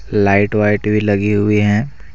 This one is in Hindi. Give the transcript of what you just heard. लाइट वाइट भी लगी हुई हैं।